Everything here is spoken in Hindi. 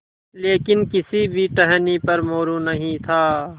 लेकिन किसी भी टहनी पर मोरू नहीं था